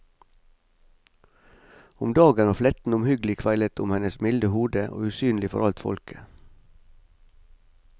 Om dagen var fletten omhyggelig kveilet om hennes milde hode og usynlig for alt folket.